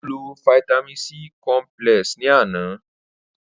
Ó lo fáítámì B cọmpílẹ̀s ni àná